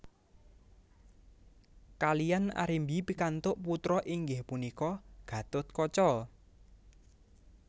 Kaliyan Arimbi pikantuk putra inggih punika Gatotkaca